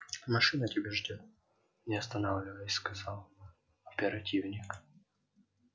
машина тебя ждёт не останавливаясь сказал оперативник